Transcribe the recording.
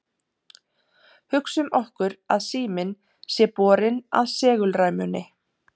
hugsum okkur að síminn sé borinn að segulræmunni